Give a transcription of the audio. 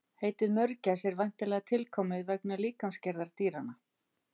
Heitið mörgæs er væntanlega tilkomið vegna líkamsgerðar dýranna.